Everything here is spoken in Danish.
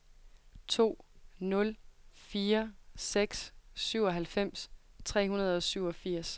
to nul fire seks syvoghalvfems tre hundrede og syvogfirs